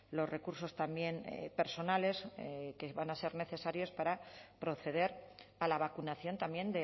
los recursos también personales que van a ser necesarios para proceder a la vacunación también